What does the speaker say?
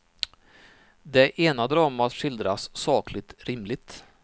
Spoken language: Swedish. Det ena dramat skildras sakligt, rimligt.